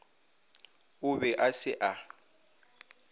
o be a se a